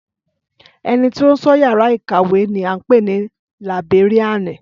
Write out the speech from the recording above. Ẹnití ó ń sọ yàrá ìkàwé ni à ń pè ni Làìbéríànì